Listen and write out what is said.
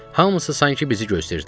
Hamısı sanki bizi gözləyirdilər.